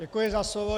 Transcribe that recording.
Děkuji za slovo.